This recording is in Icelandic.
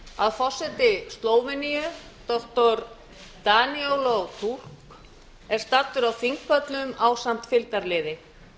að forseti slóveníu doktor danilo fulk er staddur á þingpöllum ásamt fylgdarliði